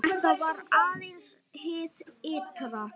Þetta var aðeins hið ytra.